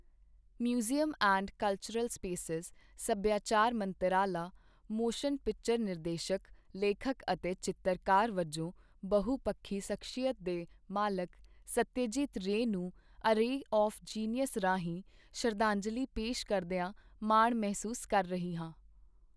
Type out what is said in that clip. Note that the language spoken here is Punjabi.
ਮਿਊਜ਼ੀਅਮ ਐਂਡ ਕਲਚਰਲ ਸਪੇਸਿਸ, ਸੱਭਿਆਚਾਰ ਮੰਤਰਾਲਾ, ਮੋਸ਼ਨ ਪਿਕਚਰ ਨਿਰਦੇਸ਼ਕ, ਲੇਖਕ ਅਤੇ ਚਿੱਤਰਕਾਰ ਵਜੋਂ ਬਹੁਪੱਖੀ ਸ਼ਖ਼ਸੀਅਤ ਦੇ ਮਾਲਕ ਸੱਤਿਆਜੀਤ ਰੇਅ ਨੂੰ ਏ ਰੇਅ ਆਵ੍ ਜੀਨੀਅਸ ਰਾਹੀਂ ਸ਼ਰਧਾਂਜਲੀ ਪੇਸ਼ ਕਰਦਿਆਂ ਮਾਣ ਮਹਿਸੂਸ ਕਰ ਰਿਹਾ ਹੈ।